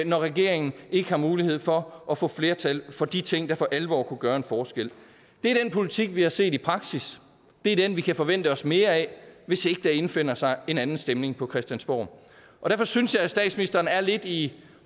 når regeringen ikke har mulighed for at få flertal for de ting der for alvor kunne gøre en forskel det er den politik vi har set i praksis det er den vi kan forvente os mere af hvis ikke der indfinder sig en anden stemning på christiansborg derfor synes jeg at statsministeren er lidt i